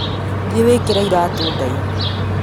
Thiĩ wĩkĩre iratũndaihu